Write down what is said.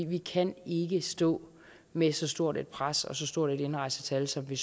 vi kan ikke stå med så stort et pres og så stort et indrejsetal som vi